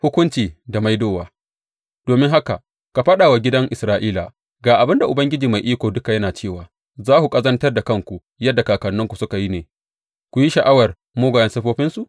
Hukunci da Maidowa Domin haka ka faɗa wa gidan Isra’ila, Ga abin da Ubangiji Mai Iko Duka yana cewa za ku ƙazantar da kanku yadda kakanninku suka yi ne ku yi sha’awar mugayen siffofinsu?